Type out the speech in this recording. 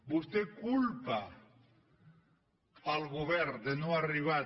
vostè culpa el govern de no arribar